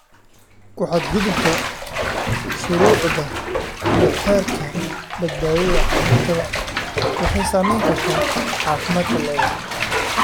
Ku xadgudubka shuruucda iyo xeerarka badbaadada cuntada waxay saamayn kartaa caafimaadka lo'da.